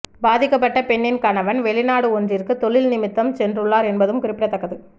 பாதிக்கப்பட்ட பெண்ணின் கணவன் வௌிநாடு ஒன்றிற்கு தொழில் நிமித்தம் சென்றுள்ளார் என்பதும் குறிப்பிடத்தக்கது